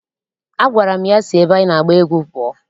A gwara m ya si ebe anyị na-agba egwú pụọ!